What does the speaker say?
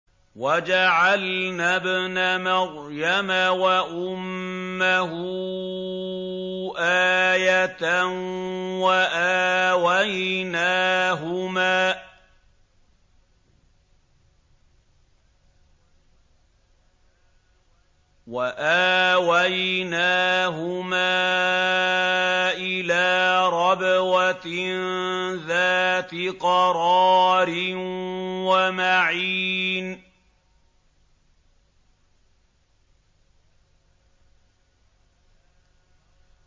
وَجَعَلْنَا ابْنَ مَرْيَمَ وَأُمَّهُ آيَةً وَآوَيْنَاهُمَا إِلَىٰ رَبْوَةٍ ذَاتِ قَرَارٍ وَمَعِينٍ